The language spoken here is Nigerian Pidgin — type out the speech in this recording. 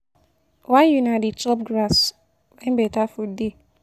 Why una go dey chop grass when better food dey.